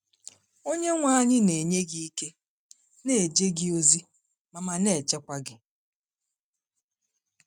Onyenwe anyị na-enye gị ike, na-eje gị ozi, ma ma na-echekwa gị.